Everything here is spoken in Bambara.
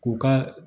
K'u ka